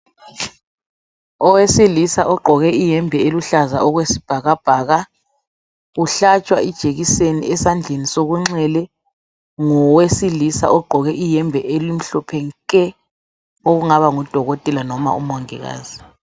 Owesilisa ogqoke iyembe eluhlaza okwesibhakabhaka uhlatshwa ijekiseni ezandleni sokuncele ngowesilisa ogqoke iyembe elimhlophe nke ongaba ngudokotela noma umongikazi.